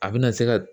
A bɛna se ka